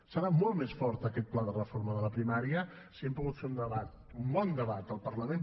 serà molt més fort aquest pla de reforma de la primària si hem pogut fer un debat un bon debat al parlament